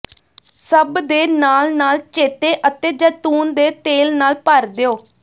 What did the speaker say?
ਸਭ ਦੇ ਨਾਲ ਨਾਲ ਚੇਤੇ ਅਤੇ ਜੈਤੂਨ ਦੇ ਤੇਲ ਨਾਲ ਭਰ ਦਿਓ